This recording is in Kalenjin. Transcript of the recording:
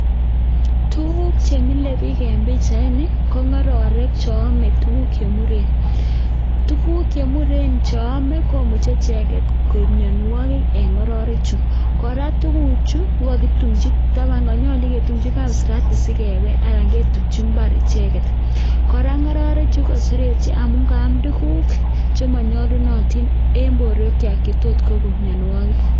Tuguk che mile biik en pichaini, ko ng'ororek che ome tuguk che muren. Tuguk che muren che ome komuche icheget koib mianwogik en ng'ororechu. Kora tuguchu kogokitumchi taban konyolu kitumchi kapsirati sikebel anan ketumchi mbar icheget. Kora ng'ororechu ko kaseretyo amun kaam tuguk che monyolunotin en borwekywak che tot kogon mianwogik.